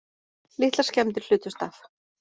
Litlar skemmdir hlutust af